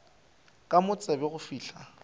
ke mo tsebe go fihla